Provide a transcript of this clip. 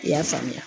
I y'a faamuya